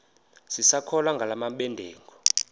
sisakholwa ngala mabedengu